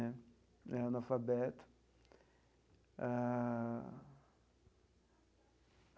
É analfabeto ah.